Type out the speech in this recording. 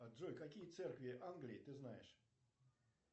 джой какие церкви англии ты знаешь